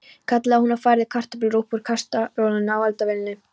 kallaði hún og færði kartöflur upp úr kastarolunni á eldavélinni.